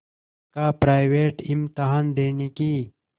का प्राइवेट इम्तहान देने की